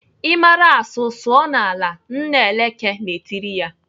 "I mara asụ sụọ n'ala!" Nna Eleke na-etiri ya.